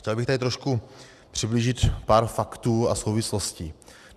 Chtěl bych tady trošku přiblížit pár faktů a souvislostí.